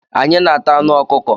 Anyị na-ata anụ ọkụkọ.